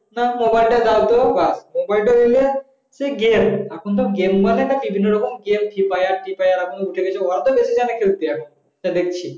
তোমার phone তো দাও তো বাস মোবাইল তা নিলে সেই গেম এখন তো গেম মানে বিভিন্ন রকম গেম free fire যা দেখছি